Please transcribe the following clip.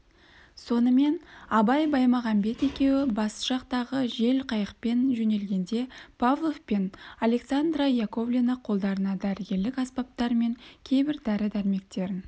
сонымен абай баймағамбет екеуі басжатақтағы жел-қайықпен жөнелгенде павлов пен александра яковлевна қолдарына дәрігерлік аспаптар мен кейбір дәрі-дәрмектерін